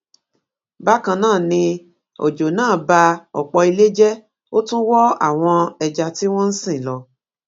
bákan náà ni ọjọ náà ba ọpọ ilé jẹ ó tún wọ àwọn ẹja tí wọn ń sìn lọ